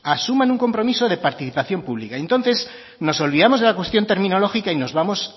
asuman un compromiso de participación pública y entonces nos olvidamos de la cuestión terminológica y nos vamos